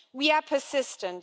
We are persistent.